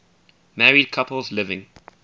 married couples living